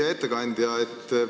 Hea ettekandja!